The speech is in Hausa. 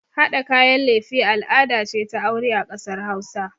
Haɗa kayan lefe al'ada ce ta aure a ƙasar hausa